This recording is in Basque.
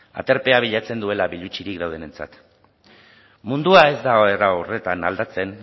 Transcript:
aterbea bilatzen duela bilutsirik daudenentzat mundua ez da era hortan aldatzen